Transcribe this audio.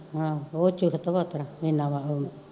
ਓ ਚੁਸਤ